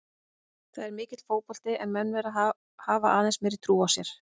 Það er mikill fótbolti en menn verða að hafa aðeins meiri trú á sér.